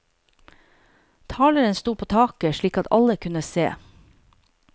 Taleren stod på taket, slik at alle kunne se.